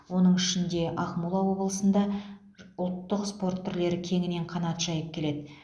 оның ішінде ақмола облысында ұлттық спорт түрлері кеңінен қанат жайып келеді